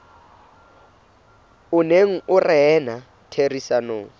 o neng o rena ditherisanong